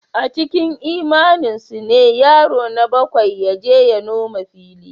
A cikin imaninsu ne yaro na bakwai ya je ya noma fili.